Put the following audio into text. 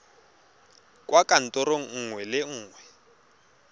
kwa kantorong nngwe le nngwe